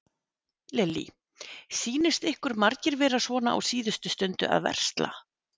Lillý: Sýnist ykkur margir vera svona á síðustu stundu að versla?